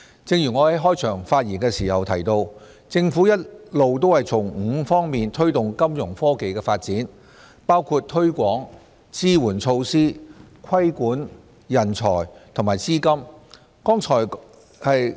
正如我在開場發言時提到，政府一直從5方面推動金融科技的發展，包括推廣、支援措施、規管、人才和資金。